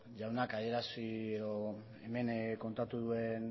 jaunak adierazi edo hemen kontatu duen